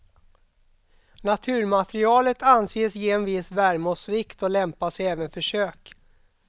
Naturmaterialet anses ge en viss värme och svikt och lämpar sig även för kök.